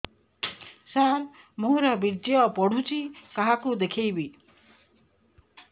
ସାର ମୋର ବୀର୍ଯ୍ୟ ପଢ଼ୁଛି କାହାକୁ ଦେଖେଇବି